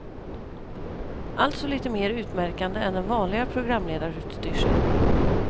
Alltså lite mer utmärkande än den vanliga programledarutstyrseln.